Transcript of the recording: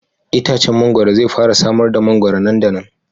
Itacen mangwaro zai fara samar da mangwaro nan da nan.